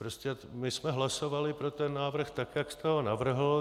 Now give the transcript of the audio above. Prostě my jsme hlasovali pro ten návrh tak, jak jste ho navrhl.